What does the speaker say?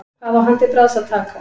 Hvað á hann til bragðs að taka?